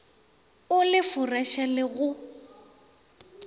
o le foreše le go